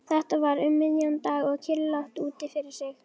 Þetta var um miðjan dag og kyrrlátt úti fyrir.